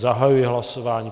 Zahajuji hlasování.